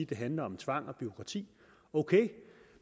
det handler om tvang og bureaukrati ok